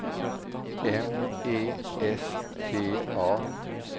M E S T A